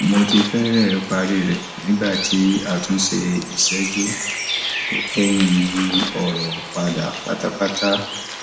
mo ti fẹrẹẹ parí rẹ nígbà tí àtúnṣe ìṣẹjú tó kẹyìn yí ọrọ padà pátápátá